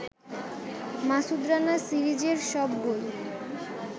মাসুদ রানা সিরিজের সব বই